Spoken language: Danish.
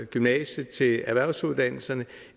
gymnasiet til erhvervsuddannelserne